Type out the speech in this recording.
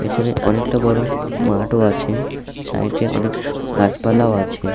পেছনে অনেকটা বড় মাঠও আছে সাইট -এ অনেক গাছপালাও আছে।